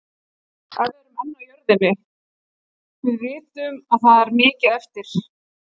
En við erum enn á jörðinni. Við vitum að það er mikið eftir.